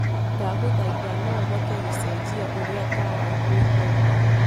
ndagũthaĩtha noũhote kucenjia uria tawa uikare